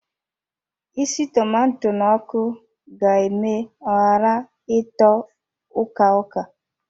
Isi tomato n'ọkụ ga eme ọ ghara ịtọ uka-uka